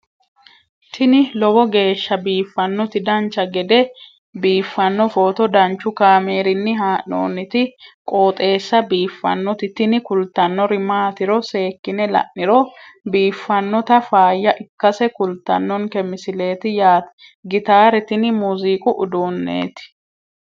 tini lowo geeshsha biiffannoti dancha gede biiffanno footo danchu kaameerinni haa'noonniti qooxeessa biiffannoti tini kultannori maatiro seekkine la'niro biiffannota faayya ikkase kultannoke misileeti yaate gitaare tini muuziiqu uduunneeti